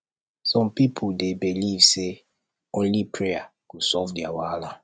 some pipo dey believe say na only prayer go solve their wahala